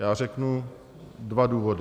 Já řeknu dva důvody.